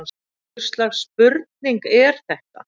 Hvers slags spurning er þetta!